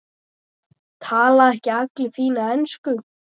Tala ekki allir fína ensku?